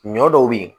Ɲɔ dɔw be yen